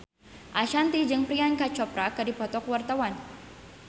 Ashanti jeung Priyanka Chopra keur dipoto ku wartawan